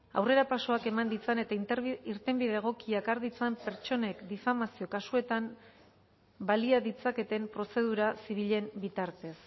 aurrerapausoak eman ditzan eta irtenbide egokiak har ditzan pertsonek difamazio kasuetan balia ditzaketen prozedura zibilen bitartez